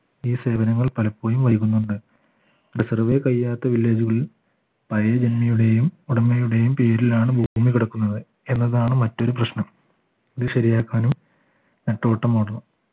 ഈ സേവനങ്ങൾ പലപ്പോഴും വൈകുന്നുണ്ട് റിസർവേ കഴിയാത്ത വില്ലേജുകളിൽ പഴയ ജനതയുടെയും ഉടമയുടെയും പേരിലാണ് ഭൂമി കിടക്കുന്നത് എന്നതാണ് മറ്റൊരു പ്രശ്നം ഇത് ശരിയാക്കാനും നെട്ടോട്ടമോടണം